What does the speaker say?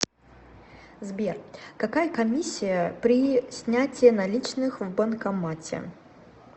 сбер какая комиссия при снятие наличных в банкомате